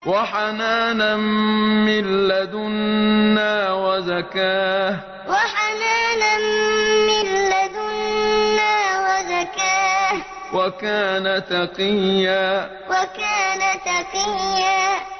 وَحَنَانًا مِّن لَّدُنَّا وَزَكَاةً ۖ وَكَانَ تَقِيًّا وَحَنَانًا مِّن لَّدُنَّا وَزَكَاةً ۖ وَكَانَ تَقِيًّا